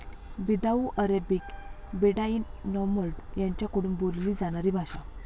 बिदाऊ Arabic Bedouin nomad यांच्याकडून बोलली जाणारी भाषा